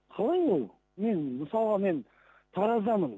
қалай ол мен мысалға мен тараздамын